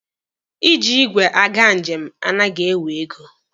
Iji igwe aga njem anaghị ewe ego.